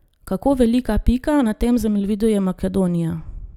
Kako velika pika na tem zemljevidu je Makedonija?